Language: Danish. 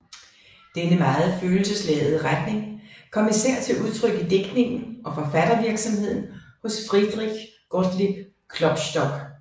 Denne meget følelsesladede retning kom især til udtryk i digtningen og forfattervirksomheden hos Friedrich Gottlieb Klopstock